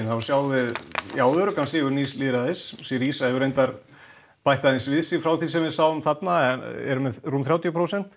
þar sjáum við öruggan sigur nýs lýðræðis syriza hefur reyndar bætt aðeins við sig frá því sem við sjáum þarna eru með rúm þrjátíu prósent